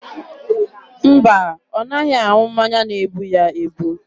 Mba, ọ naghị aṅụ mmanya na-ebu ya ebu.